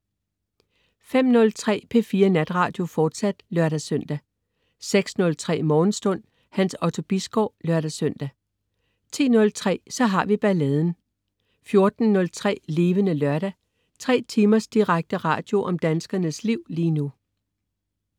05.03 P4 Natradio, fortsat (lør-søn) 06.03 Morgenstund. Hans Otto Bisgaard (lør-søn) 10.03 Så har vi balladen 14.03 Levende Lørdag. 3 timers direkte radio om danskernes liv lige nu